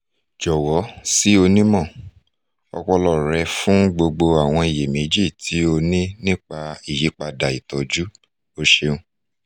jọwọ si onimọ-ọpọlọ rẹ fun gbogbo awọn iyemeji ti o ni nipa iyipada itọju o ṣeun